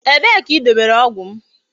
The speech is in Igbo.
Ebe ka I dobere ogwu m?